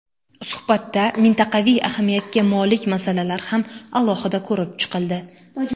Suhbatda mintaqaviy ahamiyatga molik masalalar ham alohida ko‘rib chiqildi.